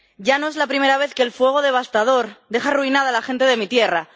Y no es la primera vez que el fuego devastador deja arruinada a la gente de mi tierra.